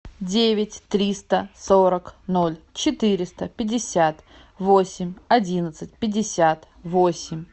девять триста сорок ноль четыреста пятьдесят восемь одиннадцать пятьдесят восемь